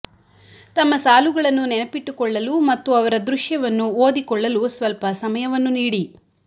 ತಮ್ಮ ಸಾಲುಗಳನ್ನು ನೆನಪಿಟ್ಟುಕೊಳ್ಳಲು ಮತ್ತು ಅವರ ದೃಶ್ಯವನ್ನು ಓದಿಕೊಳ್ಳಲು ಸ್ವಲ್ಪ ಸಮಯವನ್ನು ನೀಡಿ